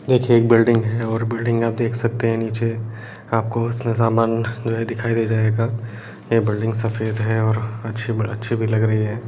देखिए एक बिल्डिंग है और बिल्डिंग आप देख सकते हैं नीचे आपको समान जो है दिखाई दे जाएगा ये बिल्डिंग सफेद है और अच्छी-ब-अच्छी भी लग रही है।